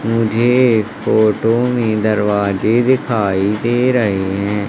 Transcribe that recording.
मुझे इस फोटो में दरवाजे दिखाई दे रहे हैं।